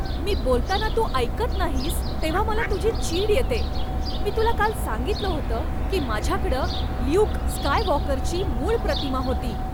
मी बोलताना तू ऐकत नाहीस तेव्हा मला तुझी चीड येते. मी तुला काल सांगितलं होतं की माझ्याकडं ल्यूक स्कायवॉकरची मूळ प्रतिमा होती.